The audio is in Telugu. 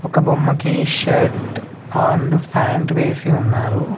ఒక బొమ్మకి షర్ట్ అండ్ ఫ్యాంట్ వేసి ఉన్నారు.